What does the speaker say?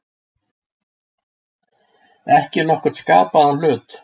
Ekki nokkurn skapaðan hlut.